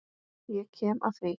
Ég kem að því.